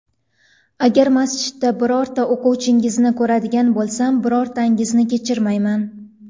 Agar masjidlarda birorta o‘quvchingizni ko‘radigan bo‘lsam, birortangizni kechirmayman.